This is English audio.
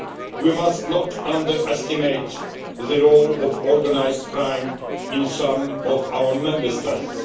We must not underestimate the role of organised crime in some of our Member States.